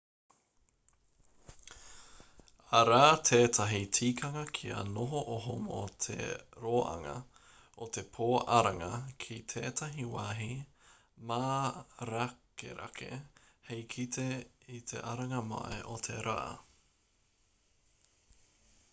arā tētahi tikanga kia noho oho mō te roanga o te pō aranga ki tētahi wāhi mārakerake hei kite i te aranga mai o te rā